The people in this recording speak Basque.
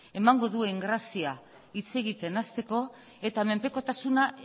emango duen grazia hitz egiten hasteko eta menpekotasuna